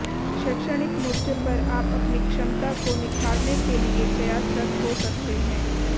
शैक्षणिक मोर्चे पर आप अपनी क्षमता को और निखारने के लिए प्रयासरत हो सकते हैं